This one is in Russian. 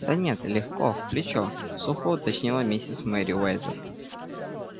да нет легко в плечо сухо уточнила миссис мерриуэзер